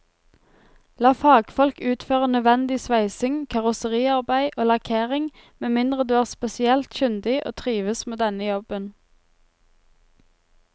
La fagfolk utføre nødvendig sveising, karosseriarbeid og lakkering med mindre du er spesielt kyndig og trives med denne jobben.